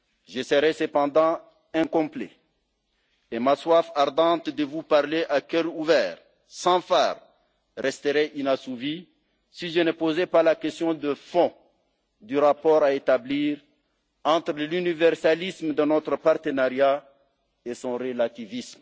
Je serais cependant incomplet et ma soif ardente de vous parler à cœur ouvert, sans fard, resterait inassouvie si je ne posais pas la question de fond du rapport à établir entre l'universalisme de notre partenariat et son relativisme.